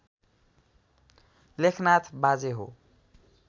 लेखनाथ बाजे हो